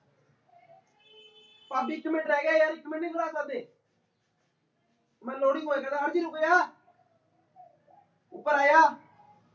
ਅਤੇ